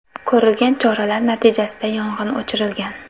Ko‘rilgan choralar natijasida yong‘in o‘chirilgan.